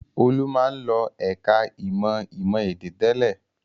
Olú máa ń lọ ẹ̀ka-ìmọ̀ ìmọ̀-èdè tẹ́lẹ̀.